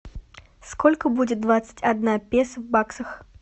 сколько будет двадцать одна песо в баксах